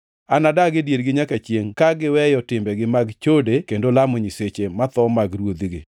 Anadag e diergi nyaka chiengʼ ka giweyo timbegi mag chode kendo lamo nyiseche motho mag ruodhigi.